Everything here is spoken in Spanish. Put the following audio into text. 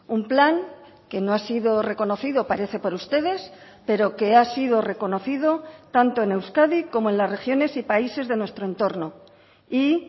un plan que no ha sido reconocido parece por ustedes pero que ha sido reconocido tanto en euskadi como en las regiones y países de nuestro entorno y